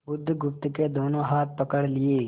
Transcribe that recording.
बुधगुप्त के दोनों हाथ पकड़ लिए